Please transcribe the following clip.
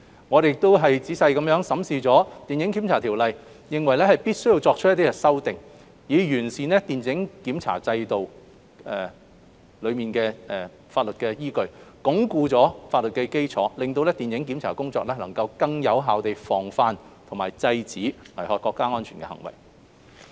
我們亦仔細審視了《電影檢查條例》，認為必須作出一些修訂，以完善電影檢查規管制度的法律依據，鞏固法律基礎，令電影檢查工作能夠更有效地防範和制止危害國家安全的行為。